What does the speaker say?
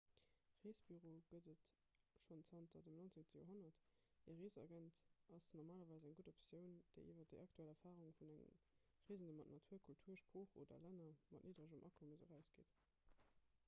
reesbüroe gëtt et schonn zanter dem 19 joerhonnert e reesagent ass normalerweis eng gutt optioun déi iwwer déi aktuell erfarunge vun engem reesende mat natur kultur sprooch oder länner mat nidderegem akommes erausgeet